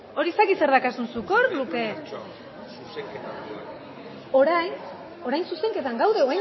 hori ez dakit zer dakazun zuk hor luke orain orain zuzenketan gaude